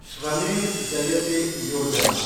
Shramev Jayate Yojana